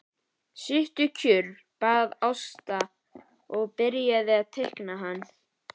Sittu kjur, bað Ásta og byrjaði að teikna hann.